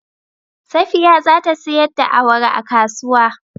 Safiya za ta sayar da awara a kasuwa.